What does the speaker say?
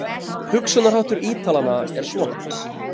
Hugsunarháttur Ítalanna er svona.